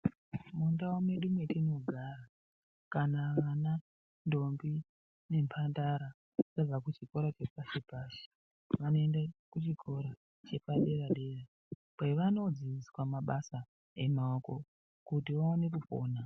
Mundau medu mwetinogara kana vana, ndombi nembandara vabva chikora chepashi pashi vanoende kuchikora chepadera dera kwevanodzidziswa mabasa emaoko kuti vaone kupona.